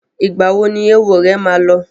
Ìgbà wo ni éwo rẹ ma lọ?